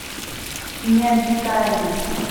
необитаемый